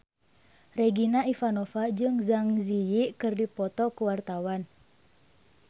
Regina Ivanova jeung Zang Zi Yi keur dipoto ku wartawan